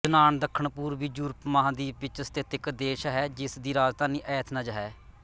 ਯੂਨਾਨ ਦੱਖਣਪੂਰਬੀ ਯੂਰਪ ਮਹਾਂਦੀਪ ਵਿੱਚ ਸਥਿਤ ਇੱਕ ਦੇਸ਼ ਹੈ ਜਿਸ ਦੀ ਰਾਜਧਾਨੀ ਐਥਨਜ਼ ਹੈ